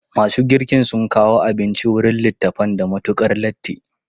Masu girkin sun kawo abinci wurin littafan da matukar latti.